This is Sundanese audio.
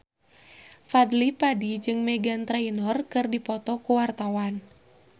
Fadly Padi jeung Meghan Trainor keur dipoto ku wartawan